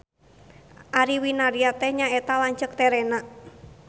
Ari Winarya teh nyaeta lanceuk terena.